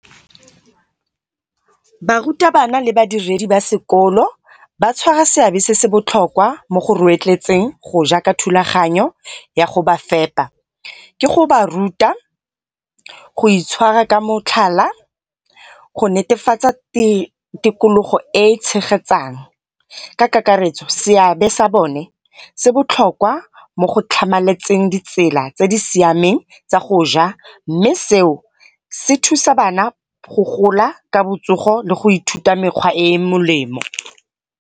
Barutabana le badiredi ba sekolo ba tshwara seabe se se botlhokwa mo go go ja ka thulaganyo ya go ba fepa. Ke go ba ruta, go itshwara ka motlhala, go netefatsa tikologo e e tshegetsang. Ka kakaretso seabe sa bone se botlhokwa mo go tlhamaletseng ditsela tse di siameng tsa go ja mme seo se thusa bana go gola ka botsogo le go ithuta mekgwa e molemo.